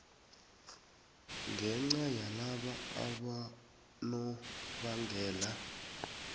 ngenca yalaba abonobangela